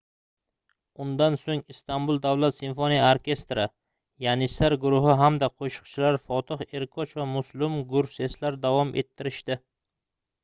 undan soʻng istanbul davlat simfoniya orkestri yanissar guruhi hamda qoʻshiqchilar fotih erkoch va muslum gurseslar davom ettirishdi